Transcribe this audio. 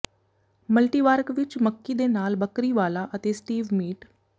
ਮਲਟੀਵਾਰਕ ਵਿਚ ਮੱਕੀ ਦੇ ਨਾਲ ਬੱਕਰੀ ਵਾਲਾ ਅਤੇ ਸਟੀਵ ਮੀਟ